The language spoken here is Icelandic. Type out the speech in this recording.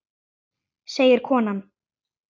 segir konan.